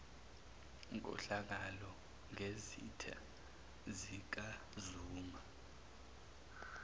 nkohlakalo ngezitha zikazuma